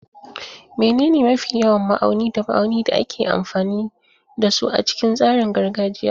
Menene mafi yawan ma'auni da ma'auni da ake amfani da su a cikin tsarin gargajiya?